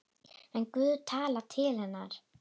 En Guð talaði til hennar.